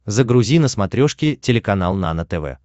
загрузи на смотрешке телеканал нано тв